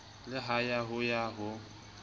le ya ho ya ho